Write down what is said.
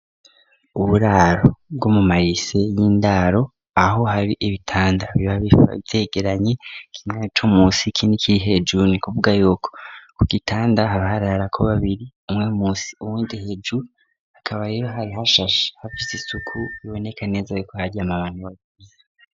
Uburaro bwo mu marise y'indaro aho hari ibitanda biba vyegeranye k'imwe comusi kin'ikiri hejru ni kuvuga yuko ku gitanda habaharara ko babiri umwe munsi uwundi hejuru akaba rero hari hashashe hafise isuku biboneka neza ro ko haryama bantu babiri.